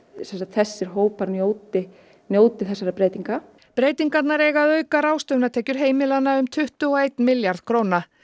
þessir hópar njóti njóti þessara breytinga breytingarnar eiga að auka ráðstöfunartekjur heimilanna um tuttugu og einn milljarð króna